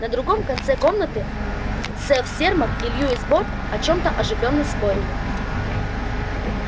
на другом конце комнаты сэф сермак и льюис борт о чем-то оживлённо спорили